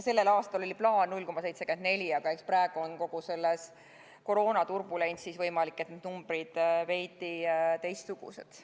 Sellel aastal oli plaan 0,74%, aga eks praegu on kogu selles koroonaturbulentsis numbrid veidi teistsugused.